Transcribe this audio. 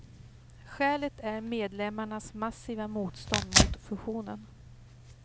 Skälet är medlemmarnas massiva motstånd mot fusionen.